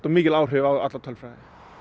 mikil áhrif á alla tölfræði